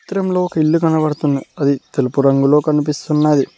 చిత్రంలో ఒక ఇల్లు కడబడుతున్న ఆది తెలుపు రంగులో కనిపిస్తున్నాది.